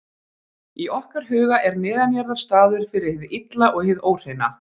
Í okkar huga er neðanjarðar staður fyrir hið illa og hið óhreina.